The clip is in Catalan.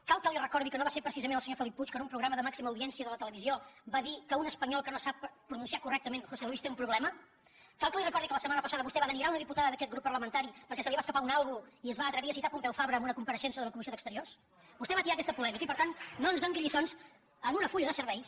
cal que li recordi que no va ser precisament el senyor felip puig que en un programa de màxima audiència de la televisió va dir que un espanyol que no sap pronunciar correctament josé luis té un problema cal que li recordi que la setmana passada vostè va denigrar una diputada d’aquest grup parlamentari perquè se li va escapar un algo i es va atrevir a citar pompeu fabra en una compareixença en la comissió d’exteriors vostè va atiar aquesta polèmica i per tant no ens doni lliçons amb un full de serveis